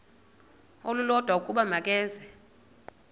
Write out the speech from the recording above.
olulodwa ukuba makeze